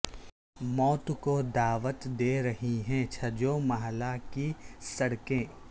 موت کو دعوت دے رہی ہے چھجو محلہ کی سڑکیں